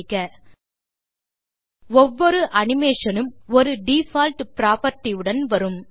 செய்க ஒவ்வொரு அனிமேஷன் உம் ஒரு டிஃபால்ட் propertyஉடன் வரும்